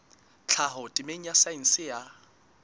tlhaho temeng ya saense ya